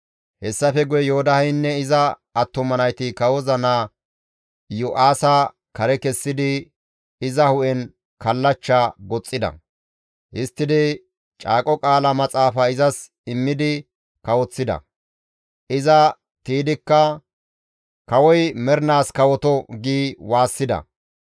Hessafe guye Yoodaheynne iza attuma nayti kawoza naa Iyo7aasa kare kessidi iza hu7en kallachcha goxxida; histtidi caaqo qaala Maxaafa izas immidi kawoththida; iza tiydikka, «Kawoy mernaas kawoto!» gi waassida.